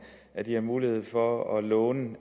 at de har mulighed for at låne